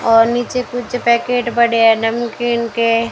और नीचे कुछ पैकेट पड़े है नमकीन के।